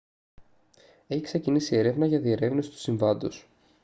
έχει ξεκινήσει έρευνα για διερεύνηση του συμβάντος